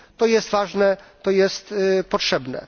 To jest ważne, to jest potrzebne.